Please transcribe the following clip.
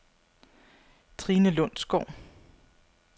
Trine Lundsgaard